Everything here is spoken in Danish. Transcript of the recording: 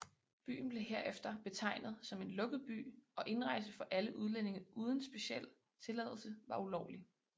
Byen blev herefter betegnet som en lukket by og indrejse for alle udlændinge uden speciel tilladelse var ulovlig